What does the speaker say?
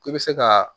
I bɛ se ka